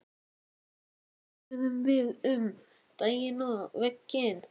Fyrst spjölluðum við um daginn og veginn.